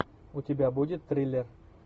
у тебя будет триллер